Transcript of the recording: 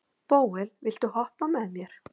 Bóel, viltu hoppa með mér?